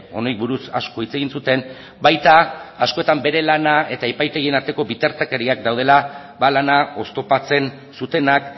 honi buruz asko hitz egin zuten baita askotan beraien lana eta epaitegien arteko bitartekariak daudela ba lana oztopatzen zutenak